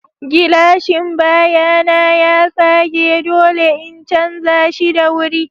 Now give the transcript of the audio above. Gilashin baya na ya tsage, dole in canza shi da wuri.